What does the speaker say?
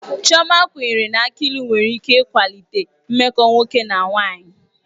Chioma kwenyere na aki ilu nwere ike ịkwalite mmekọ nwoke na nwanyị.